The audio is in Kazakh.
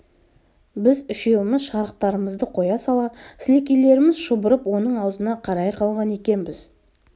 біз үшеуміз шарықтарымызды қоя сала сілекейлеріміз шұбырып оның аузына қарай қалған екенбіз